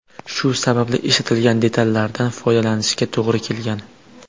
Shu sababli ishlatilgan detallardan foydalanishga to‘g‘ri kelgan.